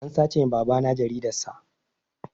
An sace wa babana jaridar sa